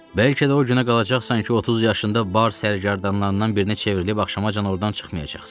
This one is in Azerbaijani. Bəlkə də o günə qalacaqsan ki, 30 yaşında bar sərgərdanlarından birinə çevrilib axşamacan ordan çıxmayacaqsan.